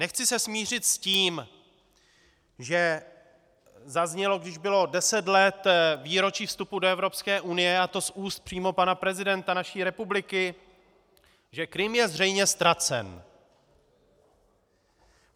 Nechci se smířit s tím, že zaznělo, když bylo 10 let výročí vstupu do Evropské unie, a to z úst přímo pana prezidenta naší republiky, že Krym je zřejmě ztracen.